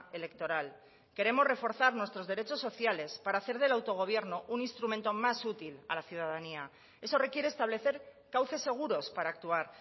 electoral queremos reforzar nuestros derechos sociales para hacer del autogobierno un instrumento más útil a la ciudadanía eso requiere establecer cauces seguros para actuar